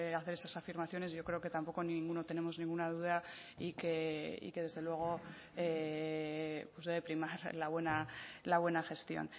hacer esas afirmaciones yo creo que tampoco ninguno tenemos ninguna duda y que y que desde luego pues debe primar la buena gestión